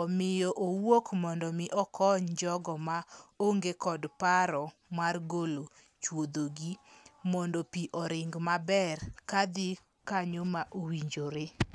omiyo owuok mondo mi okony jogo ma onge kod paro mar golo chuodho gi mondo pii oring maber kadhi kanyo ma owinjore.